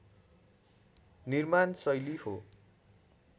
निर्माण शैली हो